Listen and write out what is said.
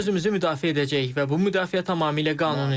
Biz özümüzü müdafiə edəcəyik və bu müdafiə tamamilə qanunidir.